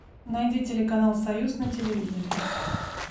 найди телеканал союз на телевизоре